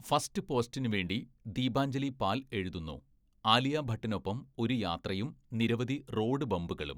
First പോസ്റ്റിനുവേണ്ടി ദീപാഞ്ജലി പാൽ എഴുതുന്നു, 'ആലിയ ഭട്ടിനൊപ്പം ഒരു യാത്രയും നിരവധി റോഡ് ബമ്പുകളും.